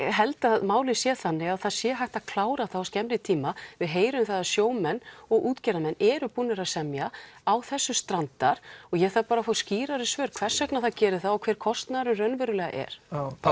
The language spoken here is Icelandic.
held að málið sé þannig að það sé hægt að klára það á skemmri tíma við heyrum það að sjómenn og útgerðarmenn eru búnir að semja á þessu strandar og ég þarf bara að fá skýrari svör hvers vegna það gerir það og þá hver kostnaðurinn raunverulega er